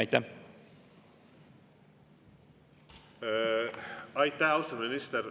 Aitäh, austatud minister!